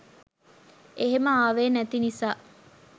එහෙම ආවේ නැති නිසා